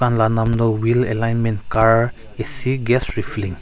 dukaan la naam tu wheel alignment car A_C gas refilling .